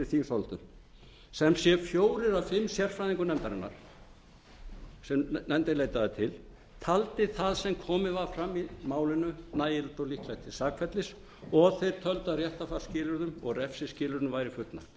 tillögu sem sé fjórir af fimm sérfræðingum nefndarinnar sem nefndin leitaði til töldu það sem komið var fram í málinu nægilegt og líklegt til sakfellis og þeir töldu að réttarfarsskilyrðum og refsiskilyrðum væri fullnægt